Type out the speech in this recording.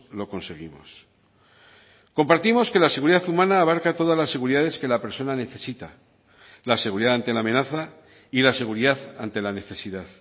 lo conseguimos compartimos que la seguridad humana abarca todas las seguridades que la persona necesita la seguridad ante la amenaza y la seguridad ante la necesidad